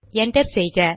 enter செய்க